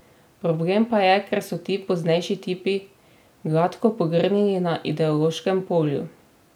Problem pa je, ker so ti poznejši tipi gladko pogrnili na ideološkem polju.